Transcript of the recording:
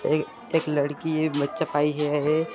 ए एक लड़की ये बच्चा पाई हैं ये--